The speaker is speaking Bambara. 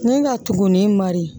Ni ka tugunnin mari